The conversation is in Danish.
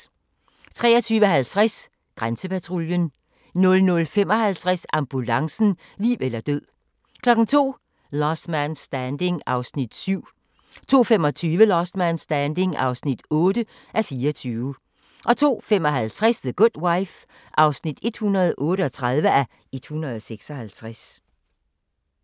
23:50: Grænsepatruljen 00:55: Ambulancen - liv eller død 02:00: Last Man Standing (7:24) 02:25: Last Man Standing (8:24) 02:55: The Good Wife (138:156)